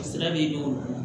Sira be don